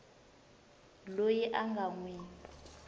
loyi a nga n wi